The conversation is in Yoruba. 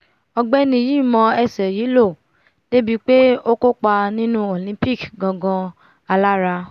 ọ̀gbẹ́ni yìí mọ ẹsẹ̀ yìí lò dé ibi pé ó kópa nínú olympics gan-an alára!